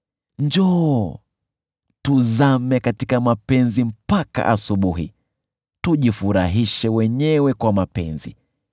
Njoo, tuzame katika mapenzi mpaka asubuhi; tujifurahishe wenyewe kwa mapenzi!